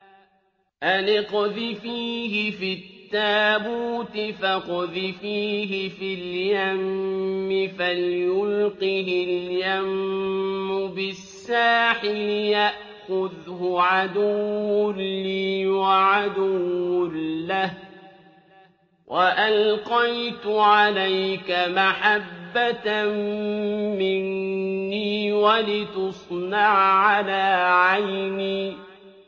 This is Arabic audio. أَنِ اقْذِفِيهِ فِي التَّابُوتِ فَاقْذِفِيهِ فِي الْيَمِّ فَلْيُلْقِهِ الْيَمُّ بِالسَّاحِلِ يَأْخُذْهُ عَدُوٌّ لِّي وَعَدُوٌّ لَّهُ ۚ وَأَلْقَيْتُ عَلَيْكَ مَحَبَّةً مِّنِّي وَلِتُصْنَعَ عَلَىٰ عَيْنِي